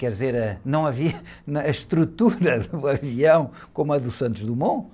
Quer dizer, ãh, não havia, a estrutura do avião como a do Santos Dumont,